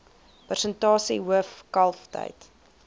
persentasie hoof kalftyd